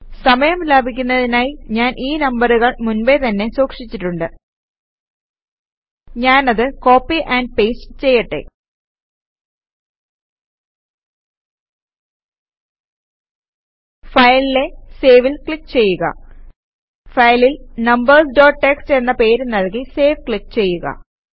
സമയം ലാഭിക്കുന്നതിനായി ഞാൻ ഈ നമ്പറുകൾ മുൻപേ തന്നെ സൂക്ഷിച്ചിട്ടുണ്ട് ഞാനത് കോപ്പി ആൻഡ് പേസ്റ്റ് ചെയ്യട്ടെ Fileലെ Saveൽ ക്ലിക് ചെയ്യുക ഫയലിൽ നമ്പേര്സ് ഡോട്ട് ടിഎക്സ്ടി എന്ന പേര് നൽകി സേവ് ക്ലിക് ചെയ്യുക